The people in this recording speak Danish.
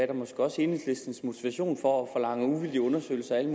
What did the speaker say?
og måske også enhedslistens motivation for at forlange uvildige undersøgelser af alle